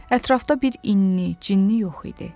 Ətrafda bir inni, cinni yox idi.